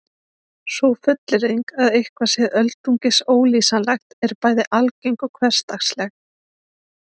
Sú fullyrðing að eitthvað sé öldungis ólýsanlegt er bæði algeng og hversdagsleg.